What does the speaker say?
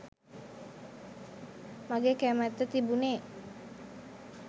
මගේ කැමැත්ත තිබුණෙ.